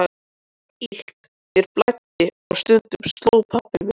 Mér var illt, mér blæddi og stundum sló pabbi mig.